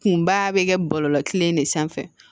Kunba bɛ kɛ bɔlɔlɔ kelen de sanfɛ